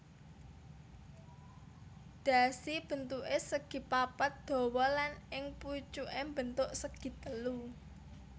Dhasi bentuké segipapat dawa lan ing pucuké mbentuk segitelu